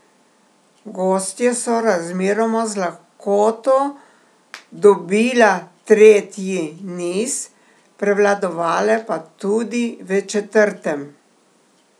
Gostje so razmeroma z lahkoto dobila tretji niz, prevladovale pa tudi v četrtem.